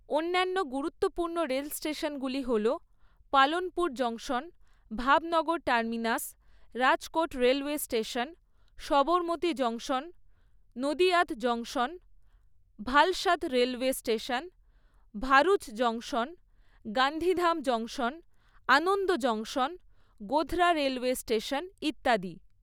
অন্যান্য গুরুত্বপূর্ণ রেল স্টেশনগুলি হল Palanpur junction, Bhavnagar terminus, Rajkot railway station, Sabarmati junction, Nadiad junction, Valsad railway station, Bharuch junction, Gandhidham junction, Anand junction, Godhra railway station ইত্যাদি।